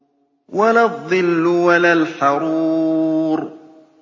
وَلَا الظِّلُّ وَلَا الْحَرُورُ